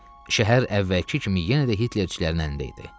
Şəhər əvvəlki kimi yenə də Hitlerçilərin əlində idi.